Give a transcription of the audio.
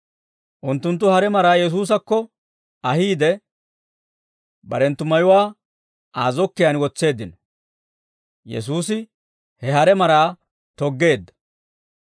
Unttunttu hare maraa Yesuusakko ahiide, barenttu mayuwaa Aa zokkiyaan wotseeddino; Yesuusi he hare maraa toggeedda.